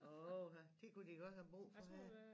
Åha det kunne de godt have brug for her